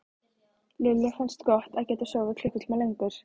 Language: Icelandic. Lillu fannst gott að geta sofið klukkutíma lengur.